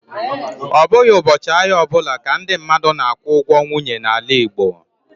Ọ bụghị ụbọchị ahịa ọ bụla ka ndị mmadụ na-akwụ ụgwọ nwunye n'ala Igbo